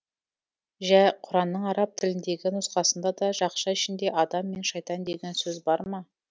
жә құранның араб тіліндегі нұсқасында да жақша ішінде адам мен шайтан деген сөз бар ма